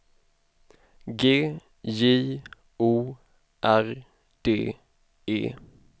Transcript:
G J O R D E